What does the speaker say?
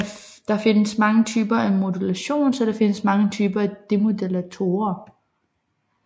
Der findes mange typer af modulation så der findes mange typer af demodulatorer